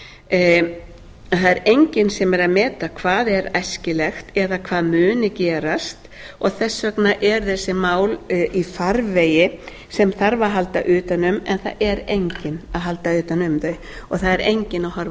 er enginn sem er að meta hvað er æskilegt eða hvað muni gerast og þess vegna eru þessi mál í farvegi sem þarf að halda utan um en það er enginn að halda utan um þau og það er enginn að horfa